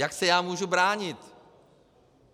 Jak se já můžu bránit?